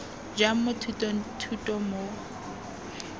jang mo thutong thuto mo